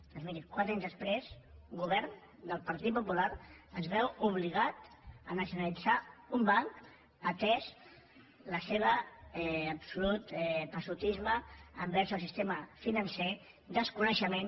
doncs miri quatre anys després el govern del partit popular es veu obligat a nacionalitzar un banc atès el seu absolut passotisme envers el sistema financer desconeixement